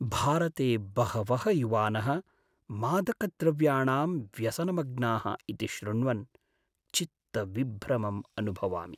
भारते बहवः युवानः मादकद्रव्याणां व्यसनमग्नाः इति श्रुण्वन् चित्तविभ्रमम् अनुभवामि।